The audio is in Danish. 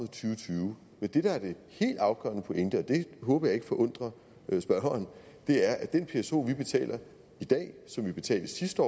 tyve men det der er den helt afgørende pointe og det håber jeg ikke forundrer spørgeren er at den pso vi betaler i dag og som vi betalte sidste